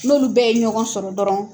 N'olu bɛɛ ye ɲɔgɔn sɔrɔ dɔrɔn